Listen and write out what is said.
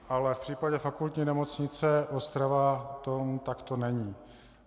Ale v případě Fakultní nemocnice Ostrava tomu takto není.